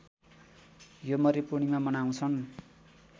योमरी पूर्णिमा मनाउँछन्